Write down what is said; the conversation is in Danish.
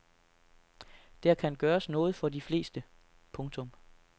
Der kan gøres noget for de fleste. punktum